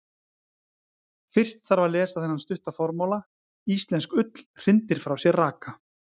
Fyrst þarf að lesa þennan stutta formála: Íslensk ull hrindir frá sér raka.